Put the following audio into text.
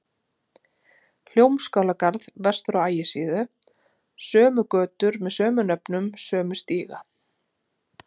Hljómskálagarð vestur á Ægisíðu, sömu götur með sömu nöfnum, sömu stíga.